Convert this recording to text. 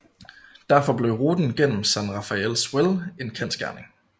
Derfor blev ruten gennem San Rafael Swell en kendsgerning